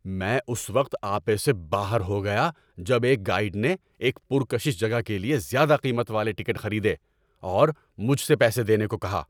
میں اس وقت آپے سے باہر ہو گیا جب ایک گائیڈ نے ایک پرکشش جگہ کے لیے زیادہ قیمت والے ٹکٹ خریدے اور مجھ سے پیسے دینے کو کہا۔